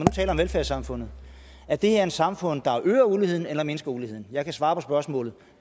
velfærdssamfundet er det her et samfund der øger uligheden eller mindsker uligheden jeg kan svare på spørgsmålet